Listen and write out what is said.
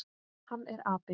Hann er api.